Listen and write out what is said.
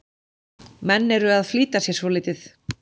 Menn eru að flýta sér svolítið.